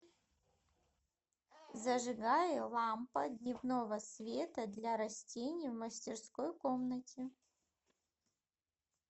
зажигай лампа дневного света для растений в мастерской комнате